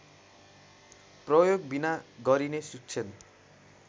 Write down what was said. प्रयोगबिना गरिने शिक्षण